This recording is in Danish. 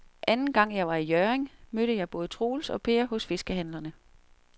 Anden gang jeg var i Hjørring, mødte jeg både Troels og Per hos fiskehandlerne.